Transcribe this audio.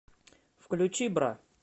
включи бра